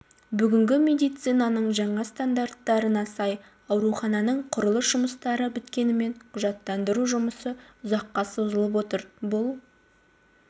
бүгінгі медицинаның жаңа стандарттарына сай аурухананың құрылыс жұмыстары біткенімен құжаттандыру жұмысы ұзаққа созылып отыр бұл